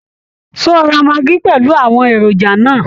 Ṣé o ra maggi pẹ̀lú àwọn èròjà náà?